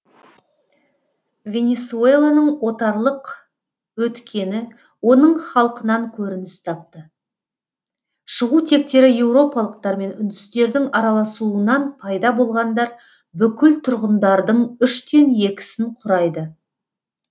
венесуэланың отарлық өткені оның халқынан көрініс тапты шығу тектері еуропалықтар мен үндістердің араласуынан пайда болғандар бүкіл тұрғындардың үштен екісін құрайды